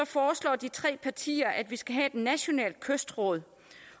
foreslår de tre partier at vi skal have et nationalt kystråd